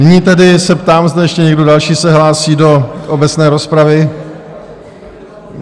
Nyní tedy se ptám, zda ještě někdo další se hlásí do obecné rozpravy?